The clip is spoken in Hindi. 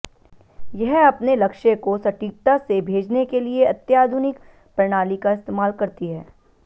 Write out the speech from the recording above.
यह अपने लक्ष्य को सटीकता से भेजने के लिए अत्याधुनिक प्रणाली का इस्तेमाल करती है